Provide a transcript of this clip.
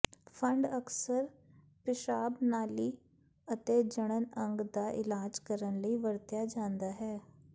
fund ਅਕਸਰ ਪਿਸ਼ਾਬ ਨਾਲੀ ਅਤੇ ਜਣਨ ਅੰਗ ਦਾ ਇਲਾਜ ਕਰਨ ਲਈ ਵਰਤਿਆ ਜਾਦਾ ਹੈ